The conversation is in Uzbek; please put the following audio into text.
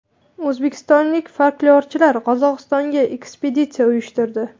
O‘zbekistonlik folklorchilar Qozog‘istonga ekspeditsiya uyushtirdi.